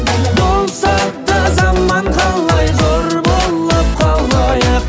болса да заман қалай зор болып қалайық